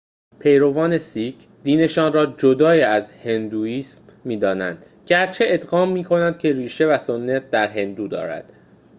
پیروان سیک دینشان را جدای از هندوئیسم می‌دانند گرچه اذعان می‌کنند که ریشه و سنت در هندو دارد